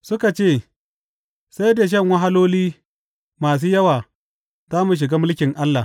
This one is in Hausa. Suka ce, Sai da shan wahaloli masu yawa za mu shiga mulkin Allah.